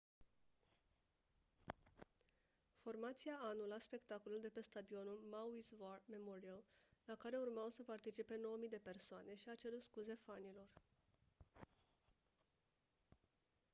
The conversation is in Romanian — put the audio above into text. formația a anulat spectacolul de pe stadionul maui's war memorial la care urmau să participe 9 000 de persoane și a cerut scuze fanilor